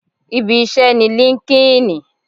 Ibi iṣẹ́ ni líńki-inì